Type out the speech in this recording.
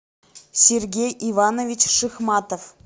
сергей иванович шихматов